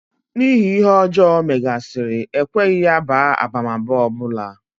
N'ihi ihe ọjọọ ọ megasị́rị, e kweghị ya baa abamaba ọ bụla.